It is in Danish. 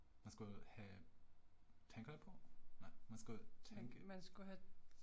Man skulle have tænker jeg på? Nej man skulle tænke